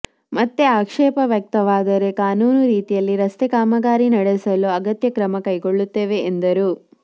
ಮತ್ತೆ ಆಕ್ಷೇಪ ವ್ಯಕ್ತವಾದರೆ ಕಾನೂನು ರೀತಿಯಲ್ಲಿ ರಸ್ತೆ ಕಾಮಗಾರಿ ನಡೆಸಲು ಅಗತ್ಯ ಕ್ರಮ ಕೈಗೊಳ್ಳುತ್ತೇವೆ ಎಂದರು